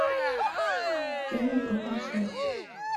фильмы про концерт